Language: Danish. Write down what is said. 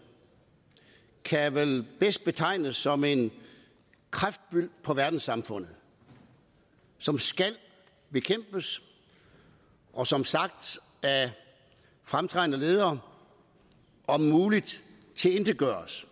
kan vel bedst betegnes som en kræftbyld på verdenssamfundet som skal bekæmpes og som sagt af fremtrædende ledere om muligt tilintetgøres